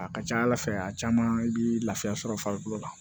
A ka ca ala fɛ a caman bi laafiya sɔrɔ farikolo la